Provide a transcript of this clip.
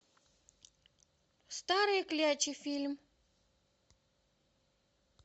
старые клячи фильм